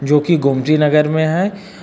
जो की गोमती नगर में हैं।